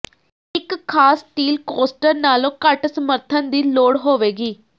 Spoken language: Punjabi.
ਇੱਕ ਖਾਸ ਸਟੀਲ ਕੋਸਟਰ ਨਾਲੋਂ ਘੱਟ ਸਮਰਥਨ ਦੀ ਲੋੜ ਹੋਵੇਗੀ